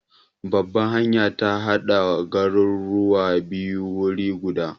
Babbar hanyar ta hada garuruwan biyu wuri guda.